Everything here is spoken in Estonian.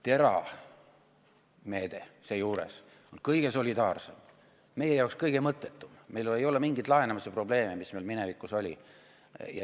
TERA meede seejuures on kõige solidaarsem, meie jaoks kõige mõttetum, meil ei ole mingeid laenamise probleeme, mis meil minevikus olid.